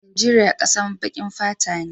Najeria kasan bakin fata ne.